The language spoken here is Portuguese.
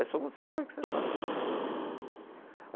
É só quando você é pai que você sabe.